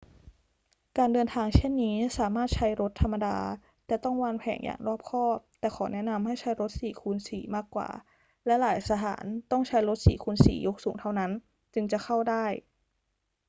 การเดินทางเช่นนี้สามารถใช้รถธรรมดา แต่ต้องวางแผนอย่างรอบคอบ แต่ขอแนะนำให้ใช้ รถ 4x4 มากกว่า และหลายสถานต้องใช้รถ 4x4 ยกสูงเท่านั้นจึงจะเข้าถึงได้